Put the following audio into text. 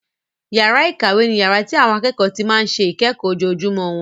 Yàrá ìkàwé ni yàrá tí àwọn akẹ́kọ̀ọ́ ti máa ń ṣe ìkẹ́kọ̀ọ́ ojoojúmọ́ wọn.